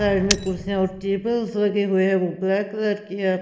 Side में कुर्सियाँ और टेबल्स लगे हुए हैं वो ब्लैक कलर की है।